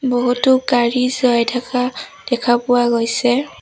বহুতো গাড়ী চাই থকা দেখা পোৱা গৈছে।